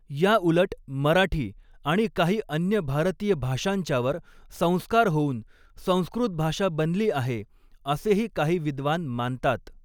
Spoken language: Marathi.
याउलट मराठी आणि काही अन्य भारतीय भाषांच्यावर संस्कार होऊन संस्कृत भाषा बनलीआहेअसेही काही विद्वान मानतात.